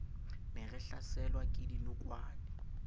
ne re hlaselwa ke dinokwane